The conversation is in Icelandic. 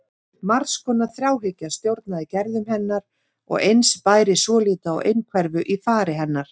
Margs konar þráhyggja stjórnaði gerðum hennar og eins bæri svolítið á einhverfu í fari hennar.